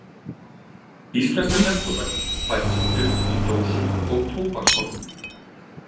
Íslenska neftóbakið fæst sem duft í dósum og tóbakshornum.